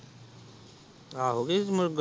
ਆਹ। .